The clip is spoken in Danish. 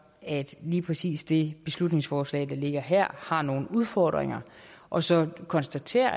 et lige præcis det beslutningsforslag der ligger her har nogle udfordringer og så konstaterer